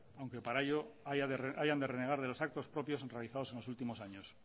aunque para ello hayan de renegar de los actos propios realizados en los últimos años